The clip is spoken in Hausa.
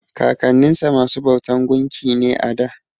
Kakanninsa masu bautan gunki ne a da.